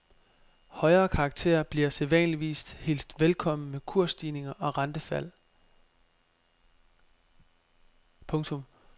Højere karakter bliver sædvanligvis hilst velkommen med kursstigninger og rentefald. punktum